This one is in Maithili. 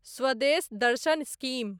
स्वदेश दर्शन स्कीम